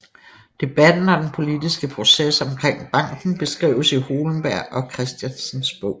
Debatten og den politiske proces omkring banken beskrives i Hohlenberg og Kristiansens bog